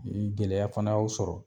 Ni gɛlɛya fana y'o sɔrɔ